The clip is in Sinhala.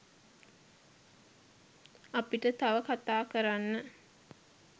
අපිට තව කතා කරන්න